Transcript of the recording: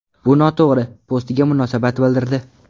Bu noto‘g‘ri!” postiga munosabat bildirdi .